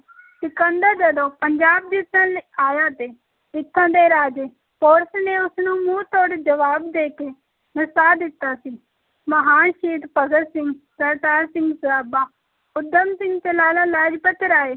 ਸਿਕੰਦਰ ਜਦੋਂ ਪੰਜਾਬ ਜਿੱਤਣ ਲਈ ਆਇਆ ਤੇ ਇੱਥੋਂ ਦੇ ਰਾਜੇ ਪੋਰਸ ਨੇ ਉਸ ਨੂੰ ਮੂੰਹ ਤੋੜ ਜਵਾਬ ਦੇ ਕੇ ਨਸਾ ਦਿੱਤਾ ਸੀ, ਮਹਾਨ ਸ਼ਹੀਦ ਭਗਤ ਸਿੰਘ, ਕਰਤਾਰ ਸਿੰਘ ਸਰਾਭਾ, ਊਧਮ ਸਿੰਘ ਤੇ ਲਾਲਾ ਲਾਜਪਤ ਰਾਏ